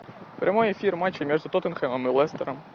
прямой эфир матча между тоттенхэмом и лестером